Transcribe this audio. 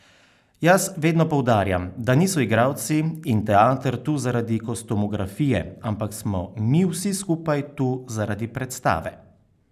Jaz vedno poudarjam, da niso igralci in teater tu zaradi kostumografije, ampak smo mi vsi skupaj tu zaradi predstave.